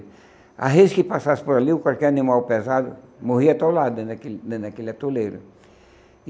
A gente que passasse por ali, ou qualquer animal pesado morria atolado dentro daquele dentro daquele atoleiro.